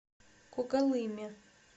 когалыме